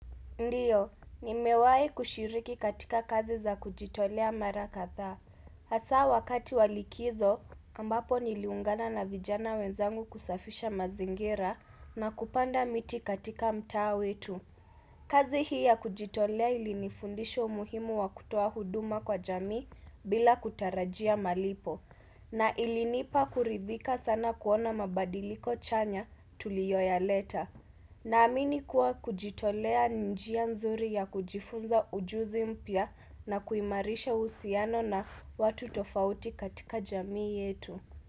Ndio, ni mewahi kushiriki katika kazi za kujitolea mara kadhaa. Hasa wakati wa likizo, ambapo niliungana na vijana wenzangu kusafisha mazingira na kupanda miti katika mtaa wetu. Kazi hii ya kujitolea ilinifundisha umuhimu wa kutoa huduma kwa jami bila kutarajia malipo. Na ilinipa kuridhika sana kuona mabadiliko chanya tuliyoyaleta. Na amini kuwa kujitolea ni njia nzuri ya kujifunza ujuzi mpya na kuimarisha uhusiano na watu tofauti katika jamii yetu.